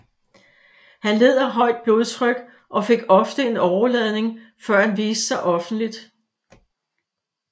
Han led af højt blodtryk og fik ofte en åreladning før han viste sig offentligt